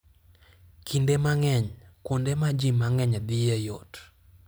Kinde mang'eny, kuonde ma ji mang'eny dhiye yot.